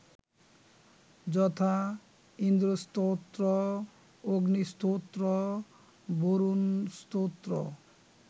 যথা, ইন্দ্রস্তোত্র, অগ্নিস্তোত্র, বরুণস্তোত্র